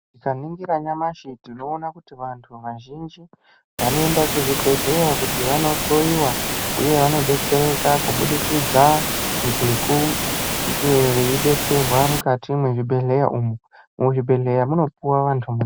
Tikaningira nyamashi tinoona kuti vantu vazhinji vanoenda kuzvibhedhleya kuti vanohloyiwa, uye vanodetsereka kubudikidza ngekunge veidetserwa mukati mwezvibhedhleya umu. Muzvibhedhleya munopuwa vantu mutombo.